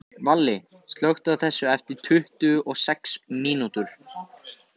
Valli, slökktu á þessu eftir tuttugu og sex mínútur.